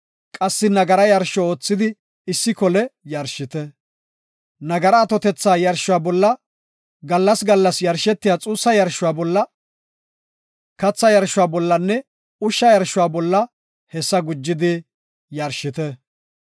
Qassi nagara yarsho oothidi issi kole yarshite. Nagara atothetha yarshuwa bolla, gallas gallas yarshetiya xuussa yarshuwa bolla, katha yarshuwa bollanne ushsha yarshuwa bolla hessa gujidi yarshite.